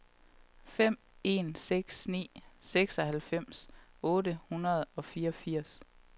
fem en seks ni seksoghalvfems otte hundrede og fireogfirs